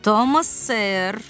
Tomas Sör!